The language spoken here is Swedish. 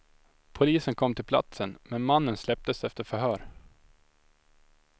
Polisen kom till platsen, men mannen släpptes efter förhör.